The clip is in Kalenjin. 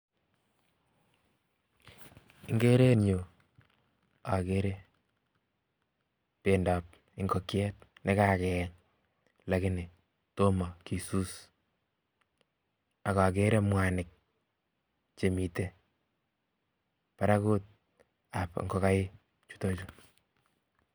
Ikere eng yu akere bendob ingokyet, nekakeyeny lakini tomo kisus akakere mwanik chemite barakut ab ingogaik chutochu,